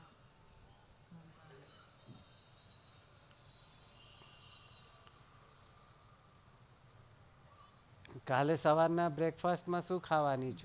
કાલે સવાર ના breakfast માં શું ખાવાની છે.